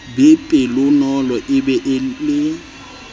be pelonolo a be le